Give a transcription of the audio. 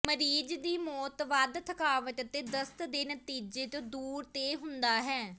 ਮਰੀਜ਼ ਦੀ ਮੌਤ ਵਧ ਥਕਾਵਟ ਅਤੇ ਦਸਤ ਦੇ ਨਤੀਜੇ ਦੇ ਤੌਰ ਤੇ ਹੁੰਦਾ ਹੈ